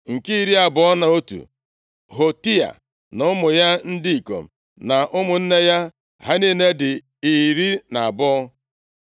Nke iri abụọ na otu, Hotia na ụmụ ya ndị ikom na ụmụnne ya. Ha niile dị iri na abụọ (12).